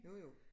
Jo jo